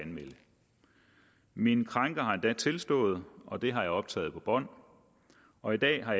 min krænker har endda tilstået og det har jeg optaget på bånd og i dag har